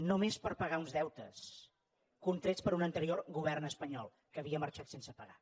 només per pagar uns deutes contrets per un anterior govern espanyol que havia marxat sense pagar